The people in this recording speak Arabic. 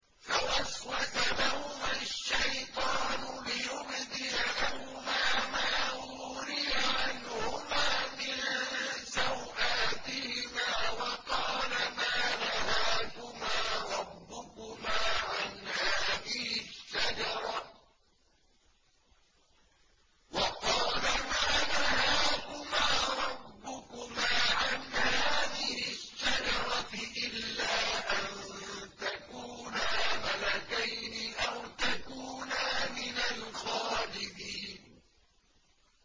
فَوَسْوَسَ لَهُمَا الشَّيْطَانُ لِيُبْدِيَ لَهُمَا مَا وُورِيَ عَنْهُمَا مِن سَوْآتِهِمَا وَقَالَ مَا نَهَاكُمَا رَبُّكُمَا عَنْ هَٰذِهِ الشَّجَرَةِ إِلَّا أَن تَكُونَا مَلَكَيْنِ أَوْ تَكُونَا مِنَ الْخَالِدِينَ